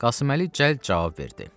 Qasım Əli cəld cavab verdi.